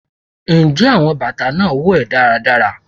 njẹ batà naa wo è daradara?